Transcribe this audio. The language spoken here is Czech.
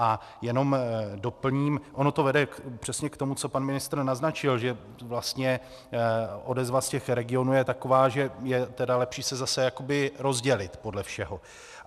A jenom doplním, ono to vede přesně k tomu, co pan ministr naznačil, že vlastně odezva z těch regionů je taková, že je tedy lepší se zase jakoby rozdělit podle všeho.